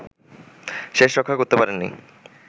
শেষরক্ষা করতে পারেননি